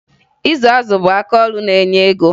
Ịzụ azụ bụ akaọrụ na-enye ego